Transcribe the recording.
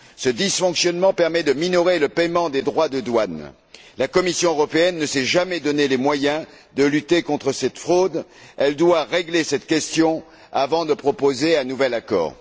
Ce dysfonctionnement permet de minorer le paiement des droits de douane. La Commission européenne ne s'est jamais donné les moyens de lutter contre cette fraude, elle doit régler cette question avant de proposer un nouvel accord.